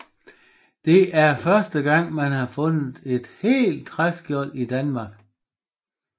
Det er første gang man har fundet et helt træskjold i Danmark